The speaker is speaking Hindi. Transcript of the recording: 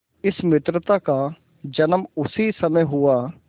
इस मित्रता का जन्म उसी समय हुआ